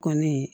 Kɔni